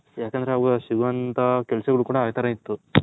ಯಾಕಂದ್ರೆ ಅವಾಗ ಸಿಗೊವಂತ ಕೆಲಸಗಳು ಕೂಡ ಆ ತರ ಇತ್ತು